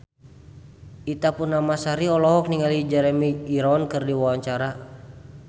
Ita Purnamasari olohok ningali Jeremy Irons keur diwawancara